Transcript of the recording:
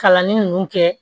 Kalanni ninnu kɛ